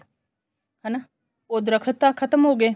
ਹਨਾ ਉਹ ਦਰੱਖਤ ਤਾਂ ਖਤਮ ਹੋ ਗਏ